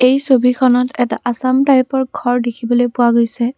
এই ছবিখনত এটা আছাম টাইপৰ ঘৰ দেখিবলৈ পোৱা গৈছে।